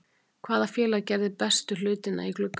Hvaða félag gerði bestu hlutina í glugganum?